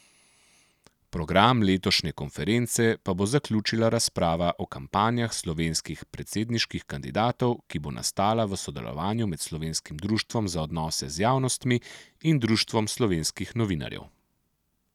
Program letošnje konference pa bo zaključila razprava o kampanjah slovenskih predsedniških kandidatov, ki bo nastala v sodelovanju med Slovenskim društvom za odnose z javnostmi in društvom slovenskih novinarjev.